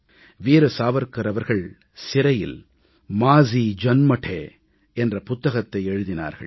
வீர சாவர்க்கர் அவர்கள் சிறையில் மாஜீ ஜன்மடே माज़ी जन्मठे என்ற புத்தகத்தை எழுதினார்கள்